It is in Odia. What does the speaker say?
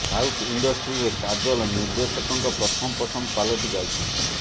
ସାଉଥ୍ ଇଣ୍ଡଷ୍ଟ୍ରିରେ କାଜଲ ନିର୍ଦ୍ଦେଶକଙ୍କ ପ୍ରଥମ ପସନ୍ଦ ପାଲଟି ଯାଇଛନ୍ତି